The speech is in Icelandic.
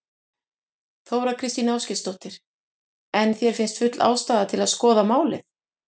Þóra Kristín Ásgeirsdóttir: En þér finnst full ástæða til að skoða málið?